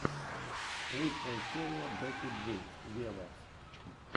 лучшая серия бекки джи вево